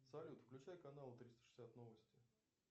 салют включай канал триста шестьдесят новости